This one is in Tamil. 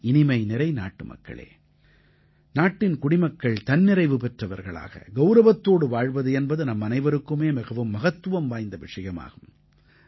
என் இனிமைநிறை நாட்டுமக்களே நாட்டின் குடிமக்கள் தன்னிறைவு பெற்றவர்களாக கௌரவத்தோடு வாழ்வது என்பது நம்மனைவருக்குமே மிகவும் மகத்துவம் வாய்ந்த விஷயமாகும்